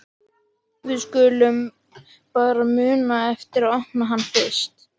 Við skulum bara muna eftir að opna hann fyrst!